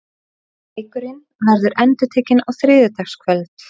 Leikurinn verður endurtekinn á þriðjudagskvöld.